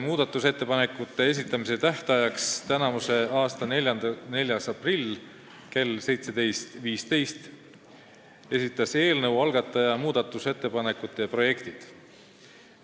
Muudatusettepanekute esitamise tähtajaks, 4. aprilliks kella 17.15-ks esitas eelnõu algataja muudatusettepanekute projektid.